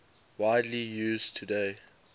widely used today